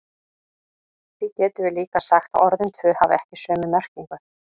Því getum við líka sagt að orðin tvö hafi ekki sömu merkingu.